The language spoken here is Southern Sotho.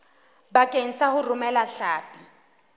bakeng sa ho romela hlapi